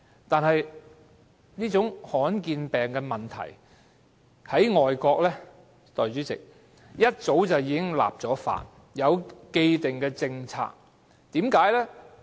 不過，代理主席，罕見疾病的問題在外國早已立法，有既定政策。